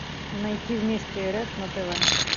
найти вместе рф на тв